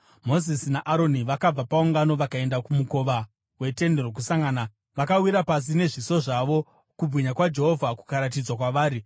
Mozisi naAroni vakabva paungano vakaenda kumukova weTende Rokusangana vakawira pasi nezviso zvavo, kubwinya kwaJehovha kukaratidzwa kwavari.